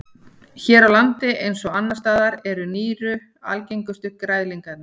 Hér á landi eins og annars staðar eru nýru algengustu græðlingarnir.